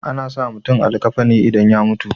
ana sa mutum a likkafani idan ya mutu